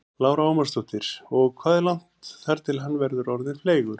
Lára Ómarsdóttir: Og hvað er langt þar til hann verður orðinn fleygur?